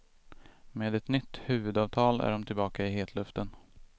Med ett nytt huvudavtal är de tillbaka i hetluften.